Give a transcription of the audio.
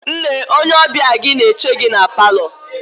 Nne, onye ọbịa gị na-eche gị na paalọ.